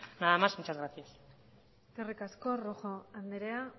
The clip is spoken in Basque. nada más muchas gracias eskerrik asko rojo andrea